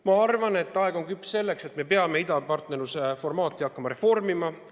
Ma arvan, et aeg on küps selleks, et me peame idapartnerluse formaati hakkama reformima.